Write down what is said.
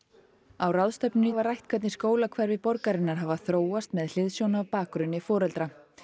á ráðstefnunni var rætt hvernig skólahverfi borgarinnar hafa þróast með hliðsjón af bakgrunni foreldra